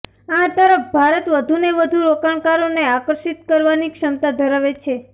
આ તરફ ભારત વધુને વધુ રોકાણકારોને આકર્ષિત કરવાની ક્ષમતા ધરાવે છે